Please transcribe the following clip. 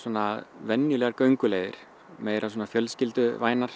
venjulegar gönguleiðir meira svona